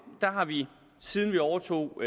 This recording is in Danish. har vi siden vi overtog